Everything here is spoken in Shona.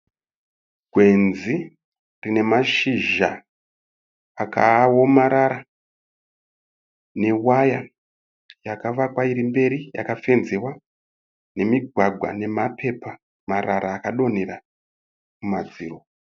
Gwenzi rine mashizha akaomarara ne waya yakavakwa iri mberi yakafenzewa , nemigwagwa nema pepa marara akadonhera kumadziro.